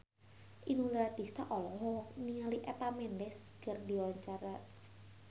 Inul Daratista olohok ningali Eva Mendes keur diwawancara